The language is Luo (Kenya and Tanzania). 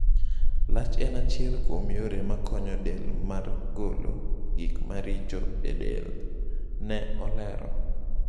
Lach en achiel kuom yore makonyo del mar golo gik maricho e del", ne olero.